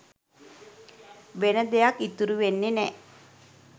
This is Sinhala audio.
වෙන දෙයක් ඉතුරු වෙන්නෙ නෑ.